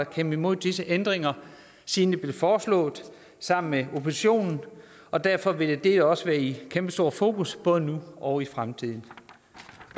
kæmpet imod disse ændringer siden de blev foreslået sammen med oppositionen og derfor vil det også være i kæmpestort fokus både nu og i fremtiden